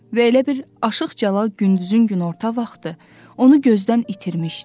Və elə bil Aşıq Cəlal gündüzün günorta vaxtı onu gözdən itirmişdi.